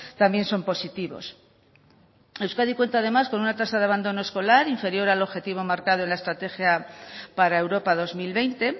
también son positivos euskadi cuenta además con una tasa de abandono escolar inferior al objetivo marcado en la estrategia para europa dos mil veinte